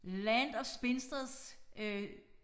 Land of spinsters øh